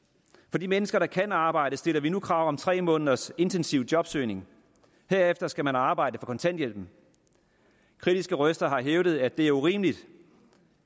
for de mennesker der kan arbejde stiller vi nu krav om tre måneders intensiv jobsøgning herefter skal man arbejde for kontanthjælpen kritiske røster har hævdet at det er urimeligt